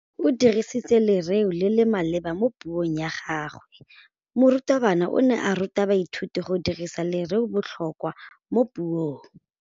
O dirisitse lerêo le le maleba mo puông ya gagwe. Morutabana o ne a ruta baithuti go dirisa lêrêôbotlhôkwa mo puong.